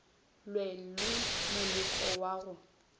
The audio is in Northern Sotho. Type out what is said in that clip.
lwe le moleko wa go